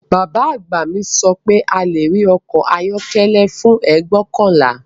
Bàbá àgbà mi sọ pé a lè rí ọkọ̀ ayọ́kọ́lẹ́ fún ẹgbọkanla